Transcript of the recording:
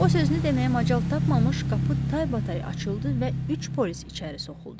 O sözünü deməyə macal tapmamış, qapı taybatay açıldı və üç polis içəri soxuldu.